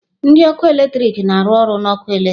Ndị ọkụ eletrik na-arụ ọrụ na ọkụ eletrik